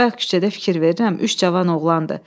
Bayaq küçədə fikir verirəm, üç cavan oğlandır.